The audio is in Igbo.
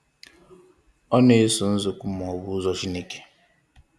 Ọ na-eso nzokwu ma ọ bụ ụzọ Chineke.